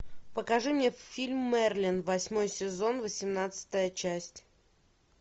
покажи мне фильм мерлин восьмой сезон восемнадцатая часть